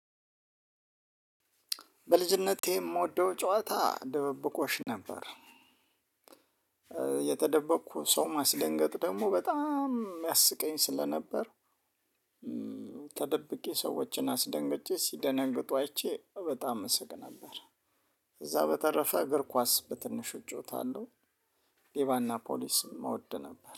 በልጅነቴ የምወደው ጨዋታ ድብብቆሽ ነበር። የተደበቅኩ ሰው ማስደንገጥ ደግሞ በጣም የሚያስቀኝ ስለነበር። ተደብቄ ሰዎችን አስደንግጬ ሲደነግጡ አይቼ በጣም እስቅ ነበር። እዛ በተረፈ እግር ኳስ በትንሽ እጫወታለሁ። ሌባና ፖሊስም እወድ ነበር